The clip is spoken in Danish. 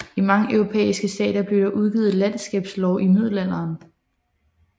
I mange europæiske stater blev der udgivet landskabslove i middelalderen